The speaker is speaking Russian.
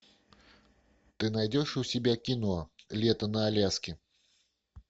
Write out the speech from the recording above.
ты найдешь у себя кино лето на аляске